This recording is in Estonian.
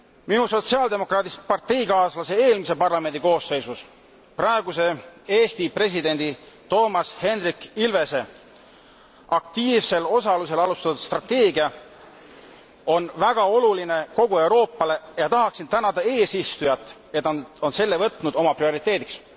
Minu sotsiaaldemokraadist parteikaaslase eelmise parlamendi koosseisus, praeguse Eesti presidendi Toomas Hendrik Ilvese aktiivsel osalusel alustatud strateegia on väga oluline kogu Euroopale ja tahaksin tänada eesistujat, et ta on selle võtnud oma prioriteediks.